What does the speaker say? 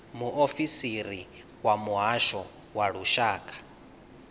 muofisiri wa muhasho wa lushaka